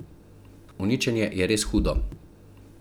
Uničenje je res hudo.